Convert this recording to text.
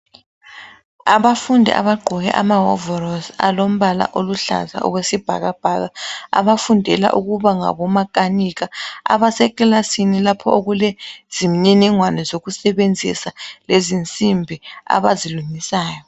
Abafundi abagqoke amahovorosi alombala oluhlaza okwesibhakabhaka. Abafundela ukuba ngabomakhanikha, abasekilasini lapho okule zimniningwane zokusebenzisa lezinsimbi abazilungisayo.